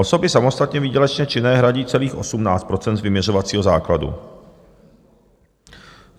Osoby samostatně výdělečně činné hradí celých 18 % z vyměřovacího základu.